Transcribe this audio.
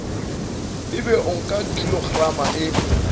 ebe o nka kilograma e